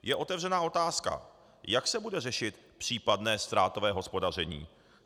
Je otevřena otázka: Jak se bude řešit případné ztrátové hospodaření?